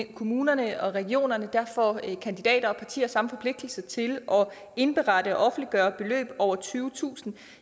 kommunerne og regionerne får kandidater og partier samme forpligtelse til at indberette og offentliggøre beløb på over tyvetusind